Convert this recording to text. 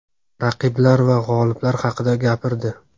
raqiblar va g‘oliblik haqida gapirdi;.